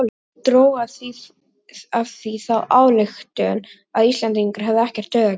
Dró af því þá ályktun að Íslendingar hefðu ekkert taugakerfi.